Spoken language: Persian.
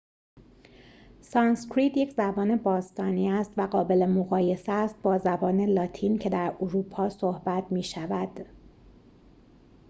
سانسکریت یک زبان باستانی است و قابل مقایسه است با زبان لاتین که در اروپا صحبت می شود